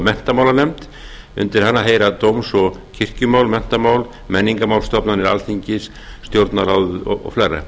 menntamálanefnd undir hana heyri dóms og kirkjumál menntamál menningarmál stofnanir alþingis stjórnarráðið og